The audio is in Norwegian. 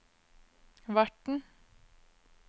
verten